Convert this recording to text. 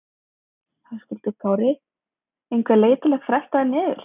Höskuldur Kári: Einhver leið til að festa hann niður?